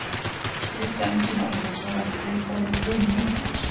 Slíkt ensím á sér hins vegar ekki hliðstæðu í frumum líkamans.